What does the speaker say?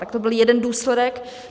Tak to byl jeden důsledek.